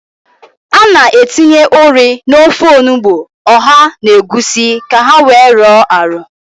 A na-etinye ụrị n'ofe onugbo, ọha na egwusi ka ha wee rọọ arọ.